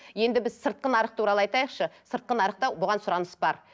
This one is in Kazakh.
енді біз сыртқы нарық туралы айтайықшы сыртқы нарықта бұған сұраныс бар